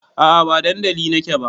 A'a ba dandali na ke ba